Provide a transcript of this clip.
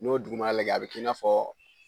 N'o duguma lajɛ a bɛ k'i n'a fɔ